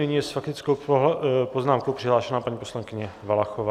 Nyní je s faktickou poznámkou přihlášena paní poslankyně Valachová.